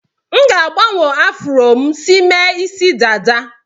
M ga-agbanwe afro m si mee isi dada.